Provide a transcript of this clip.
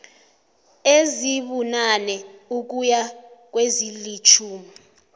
ezibunane ukuya kwezilitjhumi